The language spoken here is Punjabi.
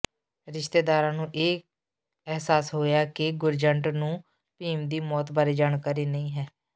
ਰਿਸ਼ਤੇਦਾਰਾਂ ਨੂੰ ਇਹ ਅਹਿਸਾਸ ਹੋਇਆ ਕਿ ਗੁਰਜੰਟ ਨੂੰ ਭੀਮ ਦੀ ਮੌਤ ਬਾਰੇ ਜਾਣਕਾਰੀ ਨਹੀਂ ਹੈ